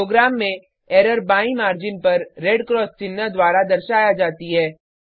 programme में error बाईं margin पर रेड क्रॉस चिन्ह द्वारा दर्शाया जाती है